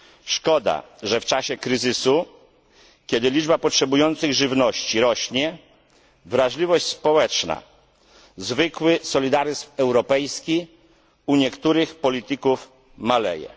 Szkoda, że w czasie kryzysu, kiedy liczba potrzebujących żywności rośnie, wrażliwość społeczna, zwykły solidaryzm europejski u niektórych polityków maleje.